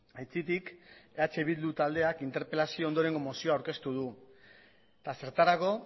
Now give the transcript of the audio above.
aitzitik eh bildu taldeak interpelazio ondorengo mozioa aurkeztu du eta zertarako